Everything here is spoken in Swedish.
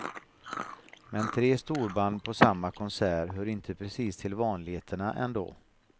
Men tre storband på samma konsert hör inte precis till vanligheterna ändå.